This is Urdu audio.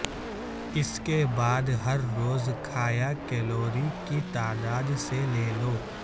اس کے بعد ہر روز کھایا کیلوری کی تعداد سے لے لو